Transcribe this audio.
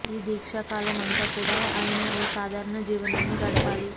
ఈ దీక్ష కాలం అంతా కూడా ఆయన ఓ సాధారణ జీవనాన్ని గడపాలి